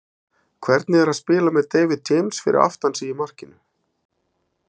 Hvernig er að spila með David James fyrir aftan sig í markinu?